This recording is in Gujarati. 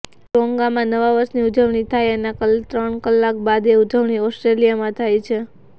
ટોન્ગામાં નવા વર્ષની ઉજવણી થાય એના ત્રણ કલાક બાદ એ ઉજવણી ઓસ્ટ્રેલિયામાં થાય છે